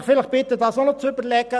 Ich bitte Sie, das auch zu bedenken.